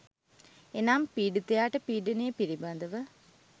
එනම් පීඩිතයාට පීඩනය පිළිබඳව